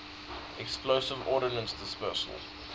explosive ordnance disposal